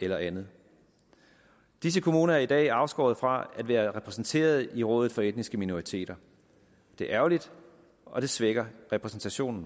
eller andet disse kommuner er i dag afskåret fra at være repræsenteret i rådet for etniske minoriteter det er ærgerligt og det svækker repræsentationen